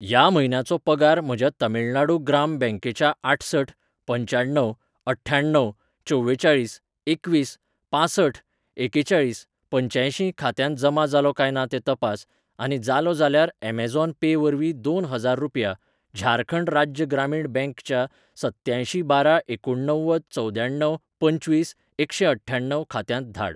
ह्या म्हयन्याचो पगार म्हज्या तमिळनाडू ग्राम बँक च्या आठसठ पंच्याण्णव अठ्ठावन चवेचाळीस एकवीस पांसठ एकेचाळीस पंच्यांयशीं खात्यांत जमा जालो काय ना तें तपास, आनी जालो जाल्यार अमेझॉन पे वरवीं दोन हजार रुपया झारखंड राज्य ग्रामीण बँक च्या सत्त्यांयशीं बारा एकुणणव्वद चवद्याण्णव पंचवीस एकशेंअठ्ठ्याण्णव खात्यांत धाड.